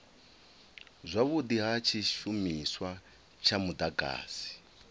zwavhudi ha tshishumiswa tsha mudagasi